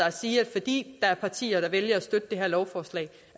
at sige at fordi der er partier der vælger at støtte det her lovforslag